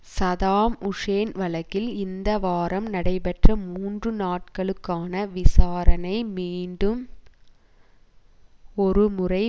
Saddam Hussein வழக்கில் இந்த வாரம் நடைபெற்ற மூன்று நாட்களுக்கான விசாரணை மீண்டும் ஒருமுறை